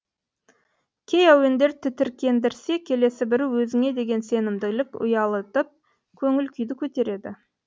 кей әуендер тітіркендірсе келесі бірі өзіңе деген сенімділік ұялатып көңіл күйді көтереді